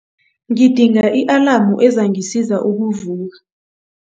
Ngidinga i-alamu ezangisiza ukuvuka.